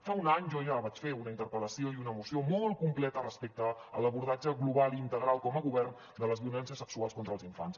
fa un any jo ja vaig fer una interpel·lació i una moció molt completa respecte a l’abordatge global i integral com a govern de les violències sexuals contra els infants